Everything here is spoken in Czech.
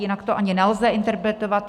Jinak to ani nelze interpretovat.